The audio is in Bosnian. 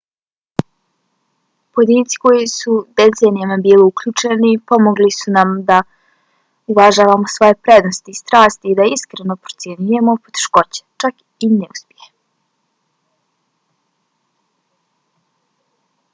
pojedinci koji su decenijama bili uključeni pomogli su nam da uvažavamo svoje prednosti i strasti i da iskreno procjenjujemo poteškoće čak i neuspjehe